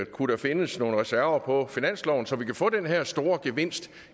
kunne der findes nogle reserver på finansloven så vi kan få den her store gevinst